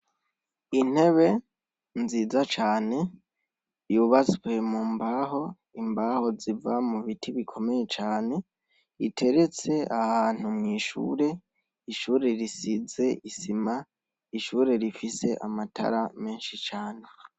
Intebe nziza cane yubaswe mu mbaho imbaho ziva mu biti bikomeye cane iteretse ahantu mw'ishure ishure risize isima ishure rifise amatara menshi cane.